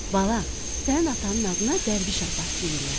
“Bala, sənin atanın adına Dərviş Abbas deyirlər.